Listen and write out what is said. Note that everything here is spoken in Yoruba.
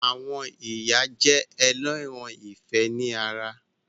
Àwọn ìyá jẹ́ ẹlẹ́ran ìfẹ́ ni ara